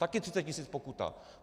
Taky 30 tisíc pokuta!